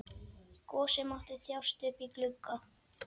Gosi mátti þjást uppí glugga.